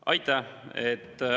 Aitäh!